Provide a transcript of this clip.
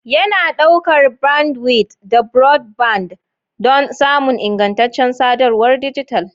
Yana ɗaukar bandwidth da broadband don samun ingantaccen sadarwar dijital.